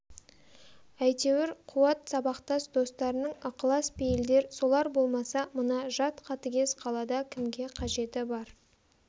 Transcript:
әйтеуір қуат сабақтас достарының ықылас-пейілдер солар болмаса мына жат қатыгез қалада кімге қажеті бар